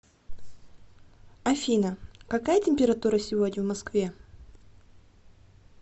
афина какая температура сегодня в москве